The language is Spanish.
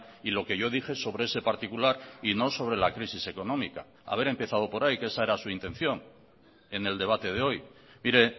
y lo que yo dije sobre ese particular y no sobre la crisis económica haber empezado por ahí que esa era su intención en el debate de hoy mire